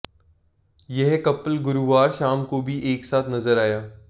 यह कपल गुरुवार शाम को भी एकसाथ नजर आया